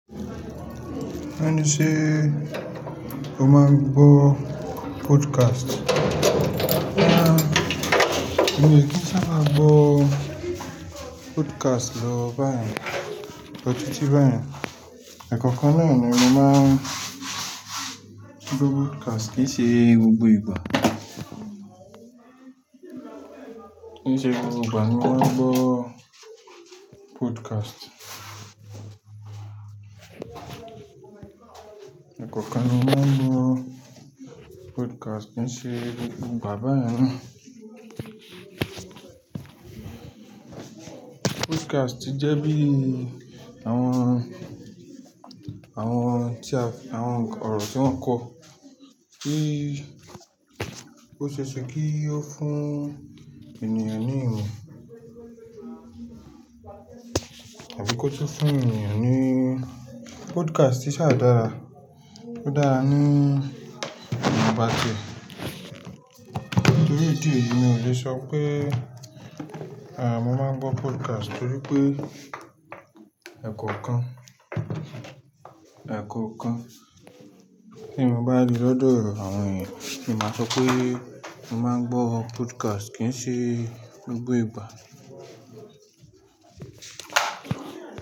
Ó ní ṣe o máa ń gbọ́ podcast? Rárá, mi ò kí ń sábà gbọ́ podcast lọ báyen, lọ tiiti báyen. Ẹ̀kookan náà ni mo máa ń gbọ́ podcast kì í ṣe gbogbo ìgbà. Kì í ṣe gbogbo ìgbà ni mo máa ń gbọ́ podcast. Ẹ̀kookan ni mo máa ń gbọ́ podcast kì í ṣe gbogbo ìgbà báyen naa. Podcast ti jẹ́ bí àwọn, àwọn tí a, àwọn ọ̀rọ̀ tí wọ́n kọ. Kí ó ṣe é ṣe kí ó fún ènìyàn ní ìmọ̀ àbí kó tó fún ènìyàn ní Podcast sa dára, ó dára ní iwon bà tíe. Torí idì eyí mi ò le sọ pé à mọ́ máa ń gbọ́ podcast torí pé ẹ̀kookan, ẹ̀kọ̀okan tí mo bá ri lódo àwọn ènìyàn ni màá sọ pé mo máa ń gbọ́ podcast kì í ṣe gbogbo ìgbà.